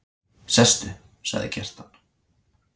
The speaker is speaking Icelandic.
Sestu, sagði Kjartan.